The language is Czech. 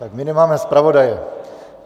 Tak my nemáme zpravodaje.